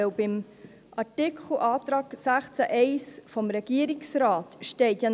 Im Antrag des Regierungsrates zu Artikel 16 Absatz 1 steht auch noch: